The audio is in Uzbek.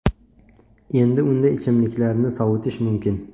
Endi unda ichimliklarni sovutish mumkin.